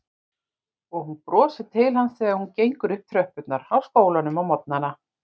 Og hún brosir til hans þegar hún gengur upp tröppurnar á skólanum á morgnana.